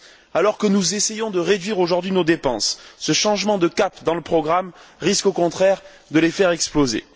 Alors que nous essayons de réduire aujourd'hui nos dépenses, ce changement de cap dans le programme risque au contraire de les faire exploser.